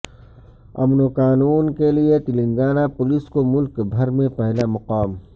امن وقانون کیلئے تلنگانہ پولیس کو ملک بھر میں پہلا مقام